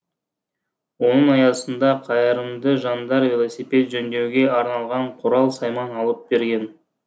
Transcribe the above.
оның аясында қайырымды жандар велосипед жөндеуге арналған құрал сайман алып берген